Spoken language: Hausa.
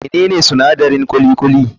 Menene sinadarin kuli kuli>?